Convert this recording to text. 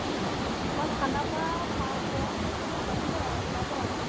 তোমাৰ খানাপাৰা পাও পোৱাৰ সময়তে মোৰ লাগিলে আৰু ওলাব আৰু মানে